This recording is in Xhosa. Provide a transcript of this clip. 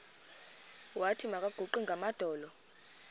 wathi makaguqe ngamadolo